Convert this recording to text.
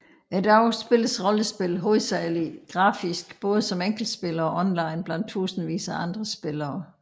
I dag spilles rollespil hovedsageligt grafisk både som enkeltspiller og online blandt tusindvis af andre spillere